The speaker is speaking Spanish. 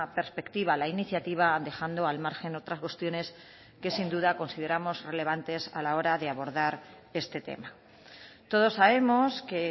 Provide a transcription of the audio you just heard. perspectiva la iniciativa dejando al margen otras cuestiones que sin duda consideramos relevantes a la hora de abordar este tema todos sabemos que